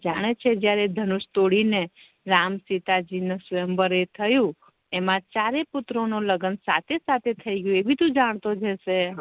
જાણે છે જયારે ધનુષ તોડી ને રામ સીતાજી નું સ્વય્મર એ થયુ એમા ચારેય પુત્રો નુ લગ્ન સાથે સાથે થઇ ગયુ એબી તું જાણતો જ હશે